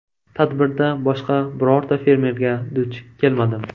Tadbirda boshqa birorta fermerga duch kelmadim.